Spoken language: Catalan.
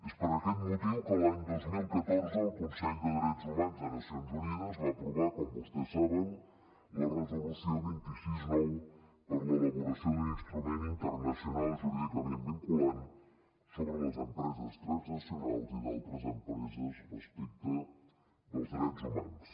és per aquest motiu que l’any dos mil catorze el consell de drets humans de les nacions unides va aprovar com vostès saben la resolució vint sis nou per a l’elaboració d’un instrument internacional jurídicament vinculant sobre les empreses transnacionals i d’altres empreses respecte dels drets humans